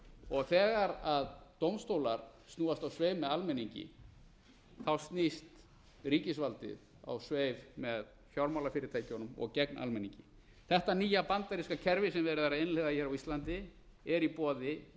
og þegar dómstólar snúast á sveif með almenningi snýst ríkisvaldið á sveif með fjármálafyrirtækjunum og gegn almenningi þetta nýja bandaríska kerfi sem er verið að innleiða hér á íslandi er í boði